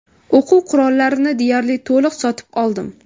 O‘quv qurollarini deyarli to‘liq sotib oldim.